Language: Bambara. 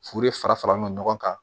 Furu de fara fara ɲɔɔn kan